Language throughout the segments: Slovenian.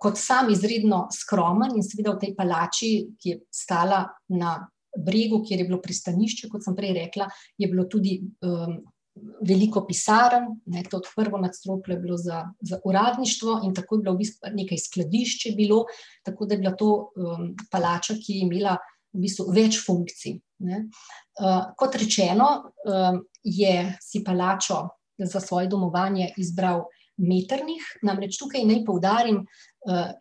kot sam izredno skromen in seveda v tej palači, ki je stala na Bregu, kjer je bilo pristanišče, kot sem prej rekla, je bilo tudi, veliko pisarni, ne, to je prvo nadstropje je bilo za, za uradništvo, in tako je bilo v bistvu, nekaj skladišč je bilo, tako da je bila to, palača, ki je imela v bistvu več funkcij, ne. kot rečeno, je si palačo za svoje domovanje izbral Metternich, namreč tukaj naj poudarim,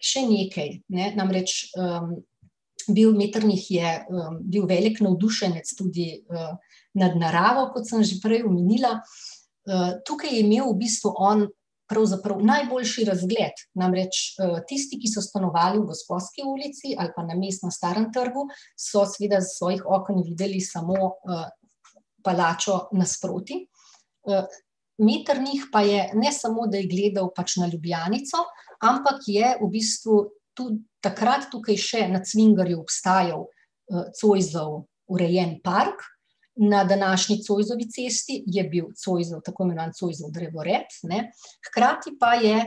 še nekaj ne, namreč, bil Metternich je, bil velik navdušenec, nad naravo, kot sem že prej omenila, tukaj je imel v bistvu on pravzaprav najboljši razgled, namreč, tisti, ki so stanovali na mestni ulici ali pa Mestnem, Starem trgu, so seveda s svojih oken videli samo, palačo nasproti. Metternich pa je, ne samo da je gledal pač na Ljubljanico, ampak je v bistvu tu takrat tukaj še na Cvingerju obstajal, Zoisov urejen park, na današnji Zoisovi cesti je bil Zoisov, tako imenovan Zoisov drevored, ne, hkrati pa je,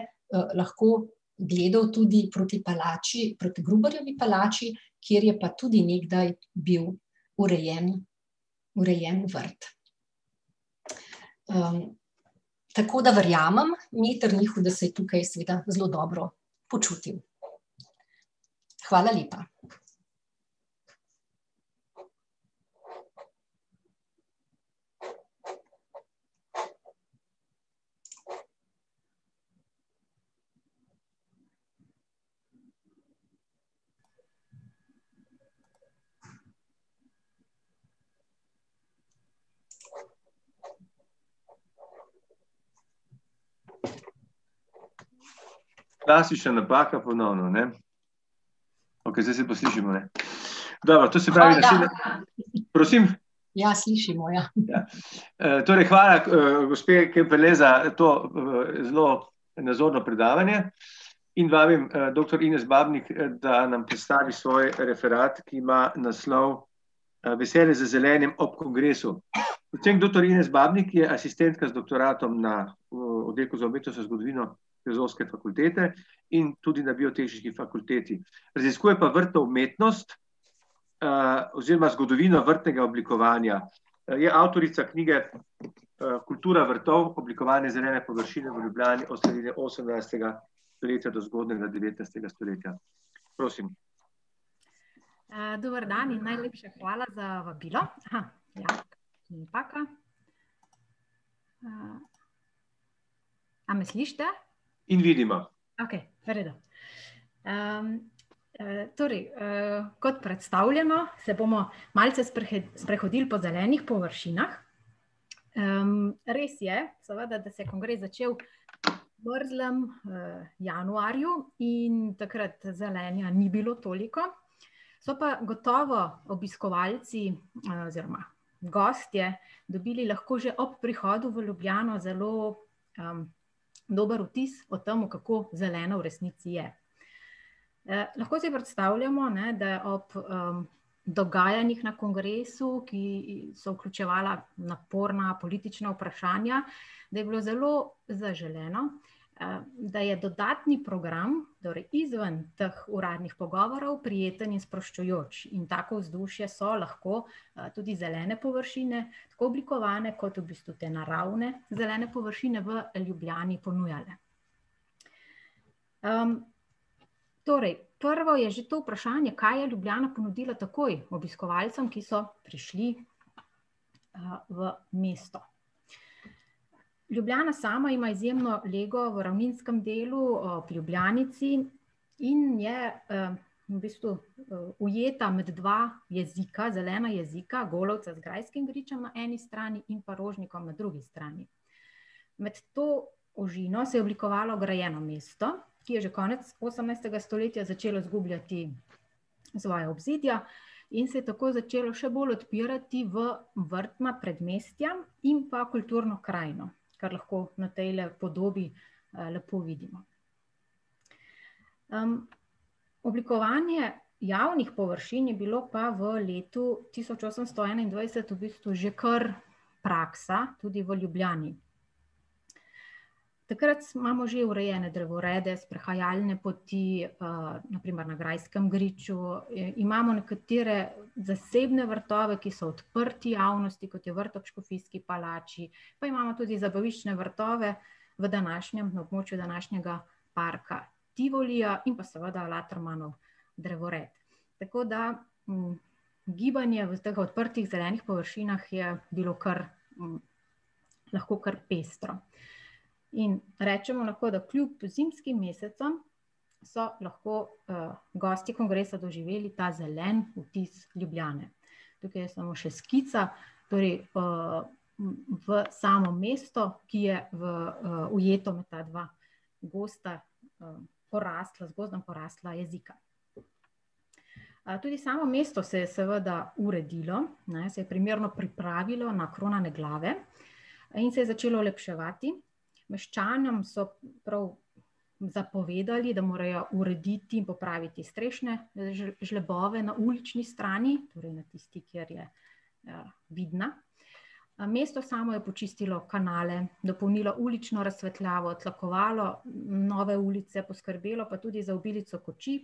lahko gledali tudi proti palači, proti Gruberjevi palači, kjer je pa tudi nekdaj bil urejen, urejen vrt. tako da verjamem Metternichu, da se je tukaj seveda zelo dobro počutil. Hvala lepa. Klasična napaka ponovno, ne. Okej, zdaj se pa slišimo, ne. Dobro, to se pravi ... Prosim? Ja, slišimo, ja. torej hvala gospe, Kemperle za to, zelo nazorno predavanje in vabim, doktor Ines Babnik, da nam predstavi svoj referat, ki ima naslov, Veselje za zelenjem ob kongresu. Docent doktor Irena Babnik je asistentka z doktoratom na, oddelku za umetnostno zgodovino Filozofske fakultete in tudi na Biotehniški fakulteti. Raziskuje pa vrtno umetnost, oziroma zgodovino vrtnega oblikovanja. Je avtorica knjige, Kultura vrtov, oblikovanje zelene površine v Ljubljani od srede osemnajstega stoletja do zgodnjega devetnajstega stoletja. Prosim. dober dan in najlepša hvala za vabilo. A me slišite? In vidimo. Okej, v redu. torej, kot predstavljeno, se bomo malce sprehodili po zelenih površinah. res je, seveda, da se je kongres začel v mrzlem, januarju in takrat zelenja ni bilo toliko, so pa gotovo obiskovalci, oziroma gostje dobili lahko že ob prihodu v Ljubljano zelo, dober vtis o tem, kako zelena v resnici je. lahko si predstavljamo, ne, da je ob dogajanjih ob kongresu, ki so vključevala naporna politična vprašanja, da je bilo zelo zaželeno, da je dodatni program, torej izven teh uradnih pogovorov, prijeten in sproščujoč, in tako vzdušje so lahko, tudi zelene površine, tako oblikovane kot v bistvu te naravne, zelene površine v Ljubljani ponujale. torej prvo je že to vprašanje, kaj je Ljubljana ponudila takoj obiskovalcem, ki so prišli, v mesto. Ljubljana sama in izjemno lego ob ravninskem delu ob Ljubljanici in je, v bistvu, ujeta med dva jezika, zelena jezika, Golovcem z grajskim gričem na eni strani in pa Rožnikom na drugi strani. Med to ožino se je oblikovalo grajeno mesto, ki je že konec osemnajstega stoletja začelo izgubljati svoja obzidja in se je tako začelo še bolj odpirati v vrtna predmestja in pa kulturno krajino, kar lahko na tejle podobi, lepo vidimo. oblikovanje javnih površin je bilo pa v letu tisoč osemsto enaindvajset že kar praksa, tudi v Ljubljani. Takrat imamo že urejene drevorede, sprehajalne poti, na primer na Grajskem griču, imamo nekatere zasebne vrtove, ki so odprti javnosti, kot je vrt ob Škofijski palači, pa imamo tudi zabaviščne vrtove v današnjem, v območju današnjega Tivolija in pa seveda Latermanov drevored. Tako da, gibanje v teh odprtih zelenih površinah je bilo kar, lahko kar pestro. In rečemo lahko, da kljub zimskim mesecem so lahko, gosti kongresa doživeli ta zeleni vtis Ljubljane. Tukaj je samo še skica, torej, v samo mesto, ki je ujeto v ta dva gosta poraslost, z gozdom porasla jezika. A tudi samo mesto se je seveda uredilo, ne, se je primerno pripravilo na kronane glave in se je začelo olepševati. Meščanom so prav zapovedali, da morajo urediti in popraviti strešne žlebove na ulični strani, torej na tisti, kjer je vidna, mesto samo je počistilo kanale, dopolnilo ulično razsvetljavo, tlakovalo nove ulice, poskrbelo pa tudi za obilico kočij,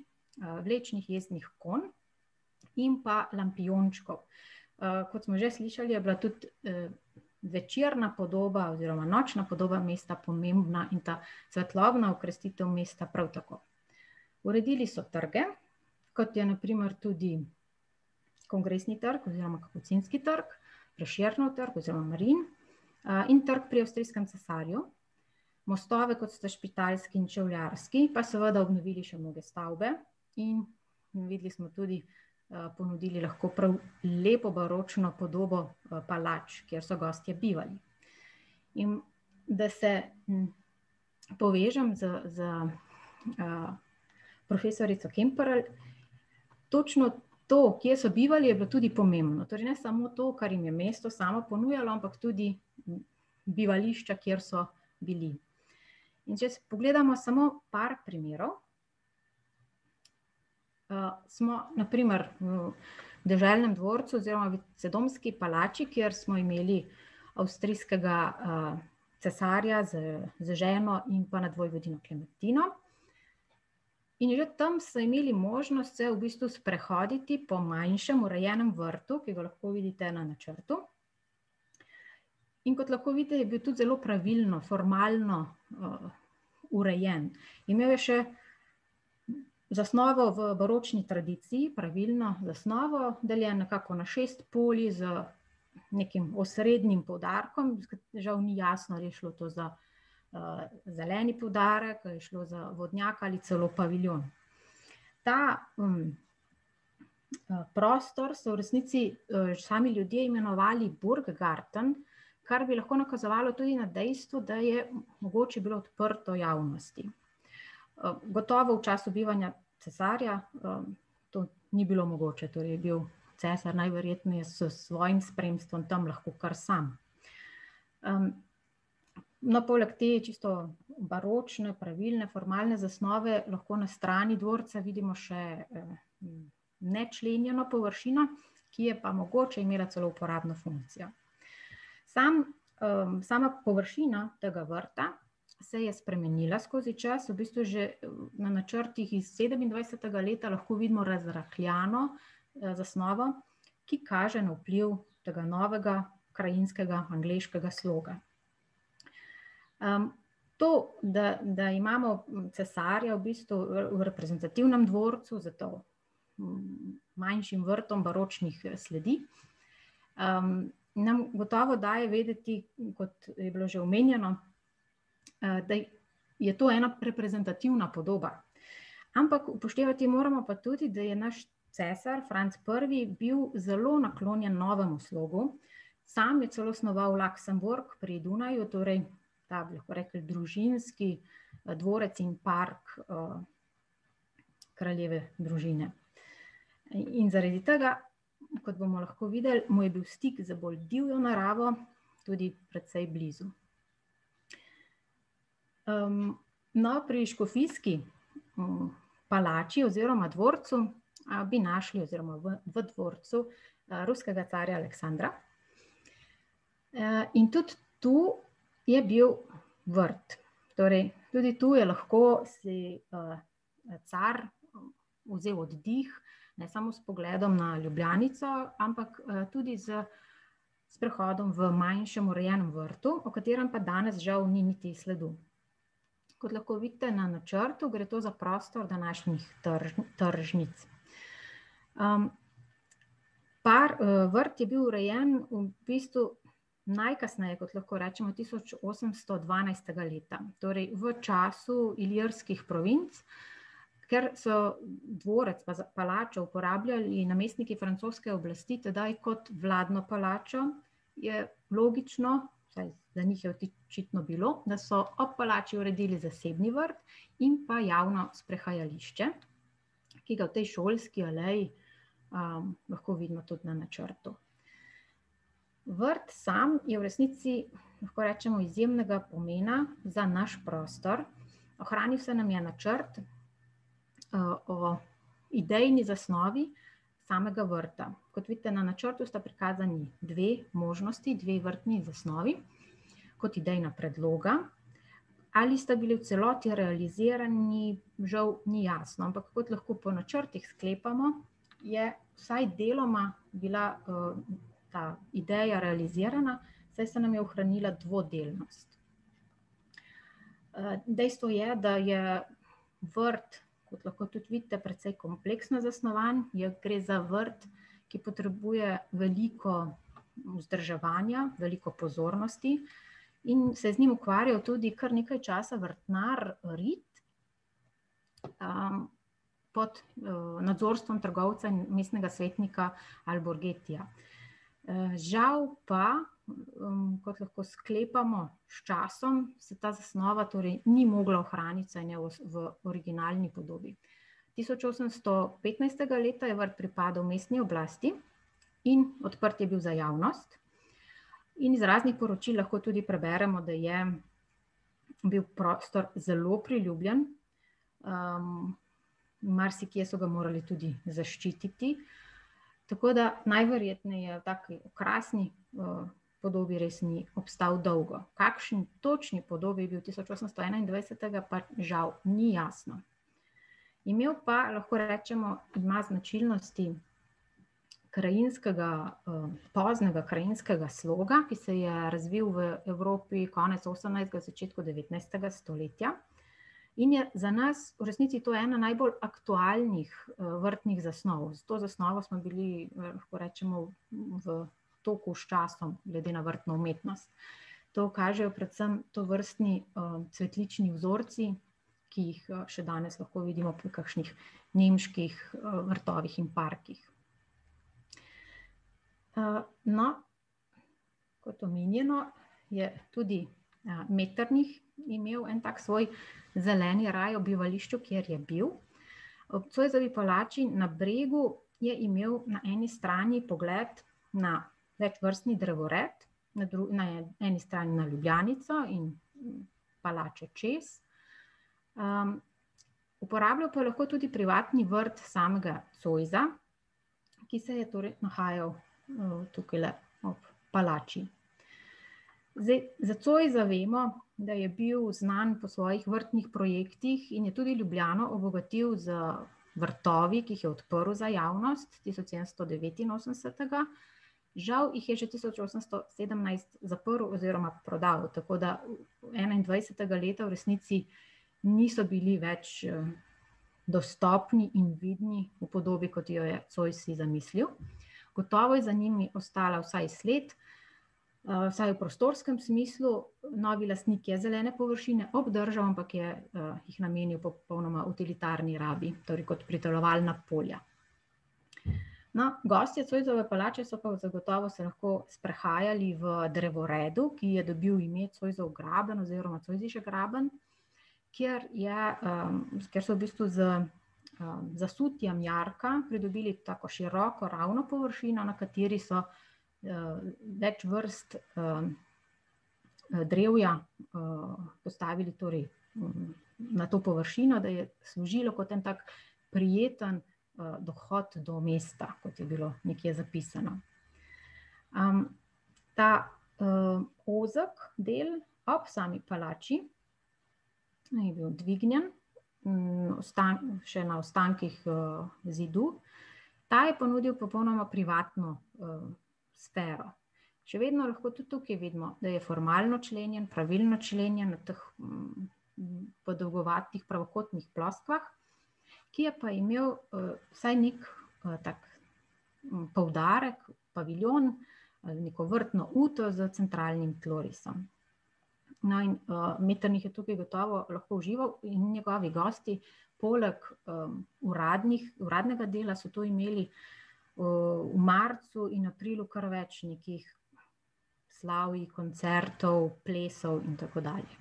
vlečnih mestnih konj in pa lampijončkov. kot smo že slišali, je bila tudi, večerna podoba oziroma nočna podoba mesta pomembna in ta svetlobna okrasitev mesta prav tako. Uredili so trge, kot je na primer tudi Kongresni trg oziroma Kapucinski trg, Prešernov trg oziroma , in Trg pri avstrijskem cesarju, mostove, kot sta Špitalski in Čevljarski, pa seveda še obnovili nove stavbe in videli smo tudi, ponudili lahko prav lepo baročno podobo palač, kjer so gostje bivali. In da se povežem s, s, profesorico Kemperle, točno to, kje so bivali, je bilo tudi pomembno, torej ne samo to, kar jim je mesto samo ponujalo, ampak tudi bivališča, kjer so bili. In če si pogledamo samo par primerov ... smo na primer v deželnem dvorcu oziroma palači, kjer smo imeli avstrijskega, cesarja z, z ženo in pa nadvojvodinjo Klementino. In že tam so imeli možnost se v bistvu sprehoditi po manjšem, urejenem vrtu, ki ga lahko vidite na načrtu. In kot lahko je bil tudi zelo pravilno, formalno, urejen. Imel je še zasnovo v baročni tradiciji, pravilno zasnovo, deljen nekako na šest polj z nekim osrednjim poudarkom, žal ni jasno, ali je šlo to za, zeleni poudarek ali je šlo za vodnjak ali celo paviljon. Ta, prostor so v resnici, sami ljudje imenovali Bordgarten, kar bi lahko nakazalo tudi na dejstvo, da je mogoče bilo odprto javnosti. gotovo v času bivanja cesarja, to ni bilo mogoče, torej je bil cesar najverjetneje s svojim spremstvom tam lahko kar sam. no, poleg te čisto baročne, pravilne, formalne zasnove lahko na strani dvorca vidimo še, nečlenjeno površino, ki je pa mogoče imela celo uporabno funkcijo. Sam, sama površina tega vrta se je spremenila skozi čas, v bistvu že na načrtih iz sedemindvajsetega leta lahko vidimo razrahljano, zasnovo, ki kaže na vpliv tega novega krajinskega angleškega sloga. to, da, da imamo cesarja v bistvu v reprezentativnem dvorcu za to, manjšim vrtom baročnih, sledi, nam gotovo daje vedeti, kot je bilo že omenjeno, da je to ena reprezentativna podoba. Ampak upoštevati moramo pa tudi, da je naš cesar Franc Prvi bil zelo naklonjen novemu slogu, sam je celo snovali pri Dunaju, torej ta, bi lahko rekli družinski, dvorec in park, kraljeve družine. In zaradi tega kot bomo lahko videli, mu je bil stik z bolj divjo naravo, tudi precej blizu. no, pri Škofijski, palači oziroma dvorcu, bi našli ... Oziroma v, v dvorcu, ruskega carja Aleksandra. in tudi tu je bil vrt. Torej tudi tu je lahko si, car vzel oddih, ne samo s pogledom na Ljubljanico, ampak, tudi s sprehodom v manjšem, urejenem vrtu, o katerem pa danes žal ni niti sledu. Kot lahko vidite na načrtu, gre to za prostor današnjih tržnic. vrt je bil urejen v bistvu najkasneje, kot lahko rečemo, tisoč osemsto dvanajstega leta, torej v času Ilirskih provinc. Ker so dvorec za palačo uporabljali namestniki francoske oblasti tedaj kot vladno palačo, je logično, vsaj za njih je očitno bilo, da so ob palači uredili zasebni vrt in pa javno sprehajališče, ki ga v tej šolski aleji, lahko vidimo tudi na načrtu. Vrt samo je v resnici, lahko rečemo izjemnega pomena za naš prostor, ohranil se nam je načrt, o idejni zasnovi samega vrta. Kot vidite, na načrtu sta prikazani dve možnosti, dve vrtni zasnovi kot idejna predloga. Ali sta bili v celoti realizirani, žal ni jasno, ampak kot lahko po načrtih sklepamo, je vsaj deloma bila, ta ideja realizirana, saj se nam je ohranila dvodelnost. dejstvo je, da je vrt, kot lahko tudi vidite, precej kompleksno zasnovan, je, gre za vrt, ki potrebuje veliko vzdrževanja, veliko pozornosti in se je z njim ukvarjali tudi kar nekaj časa vrtnar Ritt. pod, nadzorstvom trgovca, mestnega svetnika Alborgetija. žal pa, kot lahko sklepamo, s časom se ta zasnova torej ni mogla ohraniti, vsaj ne v originalni podobi. Tisoč osemnajsto petnajstega leta je vrt pripadal mestni oblasti in odprt je bil za javnost. In z raznih poročil lahko tudi preberemo, da je bil prostor zelo priljubljen, marsikje so ga morali tudi zaščititi, tako da najverjetneje v taki okrasni, podobi res ni ostal dolgo. V kakšni točni podobi do tisoč osemsto enaindvajsetega pa žal ni jasno. Imel pa, lahko rečemo, ima značilnosti krajinskega, poznega krajinskega sloga, ki je se razvil v Evropi konec osemnajstega, v začetku devetnajstega stoletja in je za nas v resnici to ena najbolj aktualnih, vrtnih zasnov. S to zasnovo smo bili, lahko rečemo v toku s časom, glede na vrtno umetnost. To kažejo predvsem tovrstni, cvetlični vzorci, ki jih, še danes lahko vidimo pri kakšnih nemških, vrtovih in parkih. no, kot omenjeno, je tudi, Metternich imel en tak svoj zeleni raj v bivališču, kjer je bil. Ob Zoisovi palači na Bregu je imel na eni strani pogled na medvrstni drevored, na na eni strani na Ljubljanico in palačo čez, uporabljal pa je lahko tudi privatni vrt samega Zoisa, ki se je torej nahajal, tukajle ob palači. Zdaj za Zoisa vemo, da je bil znan po svojih vrtnih projektih in je tudi Ljubljano obogatil z vrtovi, ki jih je odprl za javnost tisoč sedemsto devetinosemdesetega. Žal jih je že tisoč osemsto sedemnajst zaprl oziroma prodal, tako da enaindvajsetega leta v resnici niso bili več, dostopni in vidni v podobi, kot jo je Zois si zamislil. Gotovo je za njimi ostala vsaj sled, vsaj v prostorskem smislu, novi lastnik je zelene površine obdržal, ampak je, jih namenil popolnoma avtoritarni rabi, torej kot pridelovalna polja. No, gostje Zoisove palače so pa zagotovo se lahko sprehajali v drevoredu, ki je dobil ime Zoisov graben oziroma Zoisische graben, kjer je, ... Kjer so v bistvu z, zasutjem jarka pridobili tako široko ravno površino, na kateri so, več vrst, drevja, postavili torej, na to površino, da je služilo kot en tak prijeten, dohod do mesta, kot je bilo nekje zapisano. ta, ozki del ob sami palači, ne, je bil dvignjen, še na ostankih, zidu. Ta je ponudil popolnoma privatno, sfero. Še vedno lahko tudi tukaj vidimo, da je formalno členjen, pravilno členjen v teh podolgovatih pravokotnih ploskvah, ki je pa imel, vsaj nekaj, tak poudarek, paviljon, neko vrtno uto za centralnim tlorisom. No, in, Metternich je tukaj gotovo užival in njegovi gosti. Poleg, uradnih, uradnega dela so tu imeli, v marcu in aprilu kar več nekih slavij, koncertov, plesov in tako dalje.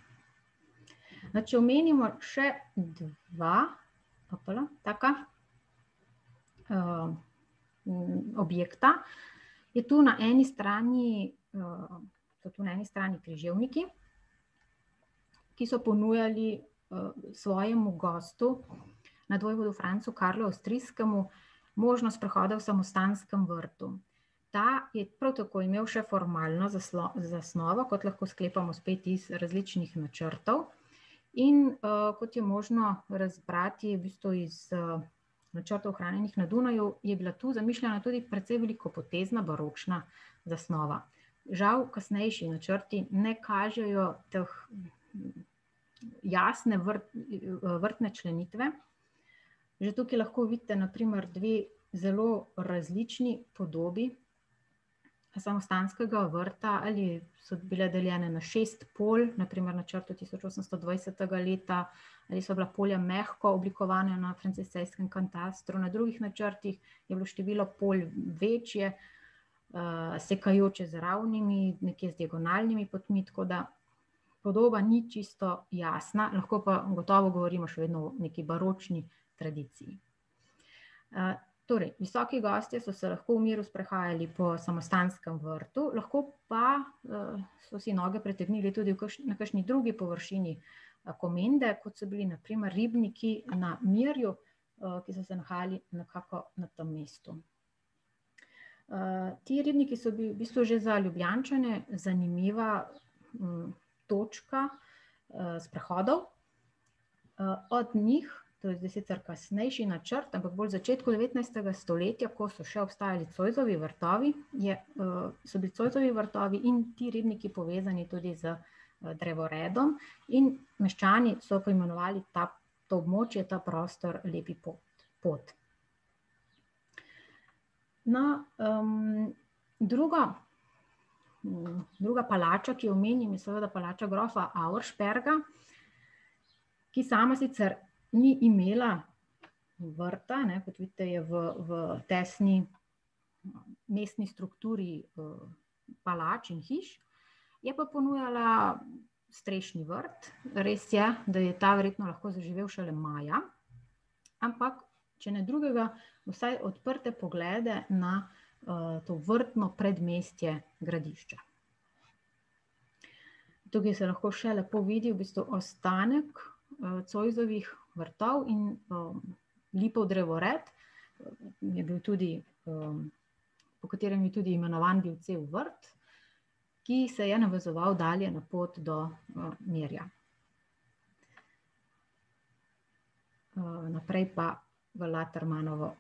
No, če omenimo še dva, taka, objekta, je tudi na eni strani, so tu na eni strani Križevniki, ki so ponujali, svojemu gostu nadvojvodu Francu Karlu Avstrijskemu možnost sprehoda v samostanskem vrtu. Ta je prav tako imel še formalno zasnovo, kot lahko sklepamo spet iz različnih načrtov. In, kot je možno razbrati v bistvu iz, načrtov, ohranjenih na Dunaju, je bila tu zamišljena tudi precej velikopotezna baročna zasnova. Žal kasnejši načrti ne kažejo te jasne vrtne členitve. Že tukaj lahko vidite na primer dve zelo različni podobi samostanskega vrta, ali so bile deljene na šest polj, na primer tisoč osemsto dvajsetega leta, ali so bila polja mehko oblikovana na franciscejskem katastru, na drugih načrtih je bilo število polj večje, sekajoče z ravnimi, nekje z diagonalnimi potmi, tako da podoba ni čisto jasna, lahko pa gotovo govorimo še vedno o neki baročni tradiciji. torej visoki gostje so se lahko v miru sprehajali po samostanskem vrtu, lahko pa, so si noge pretegnili tudi v kakšni, na kakšni drugi površini, Komende, kot so bili na primer ribniki na Mirju, ki so se nahajali nekako na tem mestu. ti ribniki so bili v bistvu že za Ljubljančane zanimiva, točka, sprehodov, od njih, to je zdaj sicer kasnejši načrt, ampak bolj v začetku devetnajstega stoletja, ko so še obstajali Zoisovi vrtovi, je, so bili Zoisovi vrtovi in ti ribniki povezani tudi z, drevoredom, in meščani so poimenovali ta, to območje, ta prostor Lepi pot. No, druga, druga palača, ki jo omenim, je seveda palača grofa Auersperga, ki sama sicer ni imela vrta, ne, kot vidite, je v, v tesni mestni strukturi, palač in hiš. Je pa ponujala strešni vrt, res je, da je ta verjetno lahko zaživel šele maja, ampak če ne drugega, vsaj odprte poglede na, to vrtno predmestje Gradišča. Tukaj se lahko še lepo vidi v bistvu ostanek, Zoisovih vrtov in, lipov drevored je bil tudi, po katerem je tudi imenovan bil cel vrt, ki se je navezoval dalje na pot do, Mirja. naprej pa v Latermanovo,